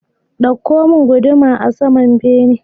Ɗauko mun guduma a saman bene